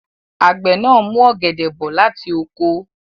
Àgbẹ̀ náà mú ọ̀gẹ̀dẹ̀ bọ̀ láti oko.